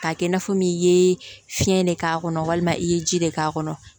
K'a kɛ i n'a fɔ min i ye fiɲɛ de k'a kɔnɔ walima i ye ji de k'a kɔnɔ